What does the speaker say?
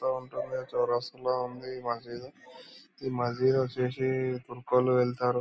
లో ఉంటుంది చౌరస్తా లో ఉంది ఈ మసీదు. ఈ మసీదు వచ్చేసి లు వెళ్తారు.